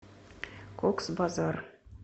кокс базар